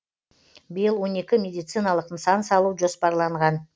биыл он екі медициналық нысан салу жоспарланған